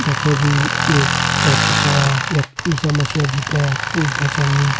यख मा जी एक चर्च चा यख ईशा मसीह जी तें पूज्दा छन।